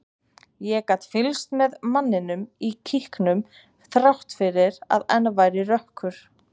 Ég gat fylgst með manninum í kíkinum þrátt fyrir að enn væri rökkur.